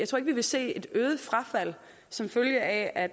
vil se et øget frafald som følge af at